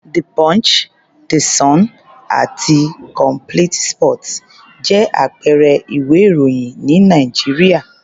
The Punch, The Sun àti Complete sports jẹ́ àpẹẹrẹ ìwé-ìròyìn ní Nàìjíríà.